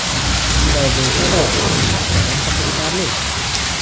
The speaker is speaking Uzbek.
Shunday bo‘lsa-da, u ancha qiziqarli.